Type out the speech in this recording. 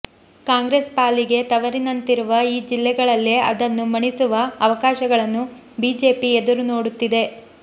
ಕಾಂಗ್ರೆಸ್ ಪಾಲಿಗೆ ತವರಿನಂತಿರುವ ಈ ಜಿಲ್ಲೆಗಳಲ್ಲೇ ಅದನ್ನು ಮಣಿಸುವ ಅವಕಾಶಗಳನ್ನು ಬಿಜೆಪಿ ಎದುರು ನೋಡುತ್ತಿದೆ